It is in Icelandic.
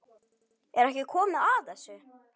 Er ekki komið að þessu?